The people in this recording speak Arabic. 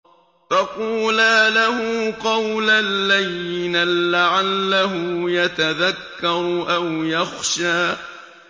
فَقُولَا لَهُ قَوْلًا لَّيِّنًا لَّعَلَّهُ يَتَذَكَّرُ أَوْ يَخْشَىٰ